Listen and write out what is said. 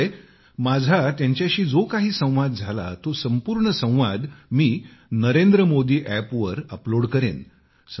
त्यामुळे माझा त्यांच्याशी जो काही संवाद झाला तो संपूर्ण संवाद मी NarendraModiApp वर अपलोड करेन